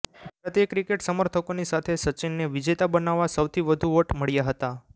ભારતીય ક્રિકેટ સમર્થકોની સાથે સચિનને વિજેતા બનાવવા સૌથી વધુ વોટ મળ્યા હતા